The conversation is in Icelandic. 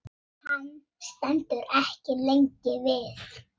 Hann stendur ekki lengi við.